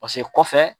Paseke kɔfɛ